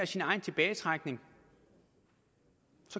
sin egen tilbagetrækning